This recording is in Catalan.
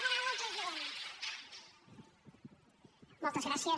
moltes gràcies